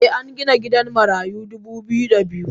Eh algina gidan marayu dubu biyu da biyu.